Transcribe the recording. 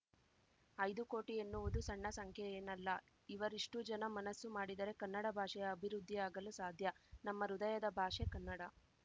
ಐದು ಕೋಟಿ ಎನ್ನುವುದು ಸಣ್ಣ ಸಂಖ್ಯೆಯೇನಲ್ಲ ಇವರಿಷ್ಟೂಜನ ಮನಸ್ಸು ಮಾಡಿದರೆ ಕನ್ನಡ ಭಾಷೆಯ ಅಭಿವೃದ್ಧಿಯಾಗಲು ಸಾಧ್ಯ ನಮ್ಮ ಹೃದಯದ ಭಾಷೆ ಕನ್ನಡ